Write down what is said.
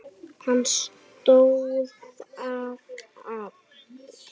Hann stóðst það afl.